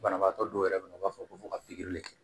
Banabaatɔ dɔw yɛrɛ bɛ yen nɔ u b'a fɔ ko fo ka pikiri